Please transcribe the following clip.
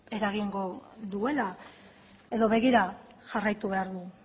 eragingo duela edo begira jarraitu behar du